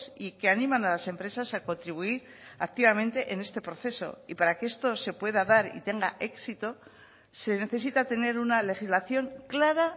y que animan a las empresas a contribuir activamente en este proceso y para que esto se pueda dar y tenga éxito se necesita tener una legislación clara